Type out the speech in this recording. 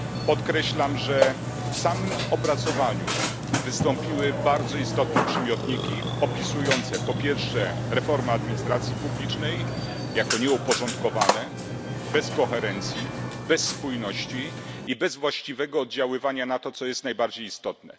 Podkreślam, że w samym opracowaniu wystąpiły bardzo istotne przymiotniki opisujące reformę administracji publicznej jako nieuporządkowaną, bez koherencji, bez spójności i bez właściwego oddziaływania na to, co jest najbardziej istotne.